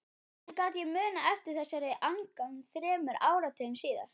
Hvernig gat ég munað eftir þessari angan þremur áratugum síðar?